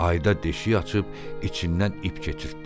Ayda deşik açıb içindən ip keçirtdi.